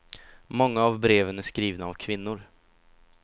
Många av breven är skrivna av kvinnor.